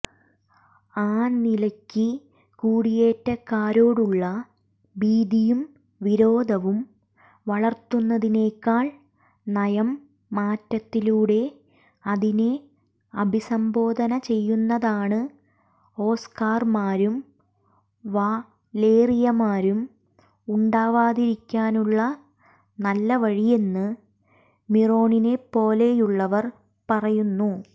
ആനിലയ്ക്ക് കുടിയേറ്റക്കാരോടുള്ള ഭീതിയും വിരോധവും വളർത്തുന്നതിനെക്കാൾ നയംമാറ്റത്തിലൂടെ അതിനെ അഭിസംബോധന ചെയ്യുന്നതാണ് ഓസ്കർമാരും വലേറിയമാരും ഉണ്ടാവാതിരിക്കാനുള്ള നല്ലവഴിയെന്ന് മിറോണിനെപ്പോലെയുള്ളവർ പറയുന്നു